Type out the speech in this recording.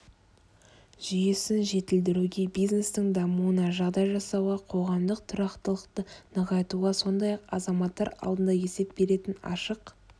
жүйесін жетілдіруге бизнестің дамуына жағдай жасауға қоғамдық тұрақтылықты нығайтуға сондай-ақ азаматтар алдында есеп беретін ашық